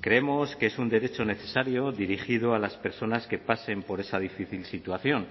creemos que es un derecho necesario dirigido a las personas que pasen por esa difícil situación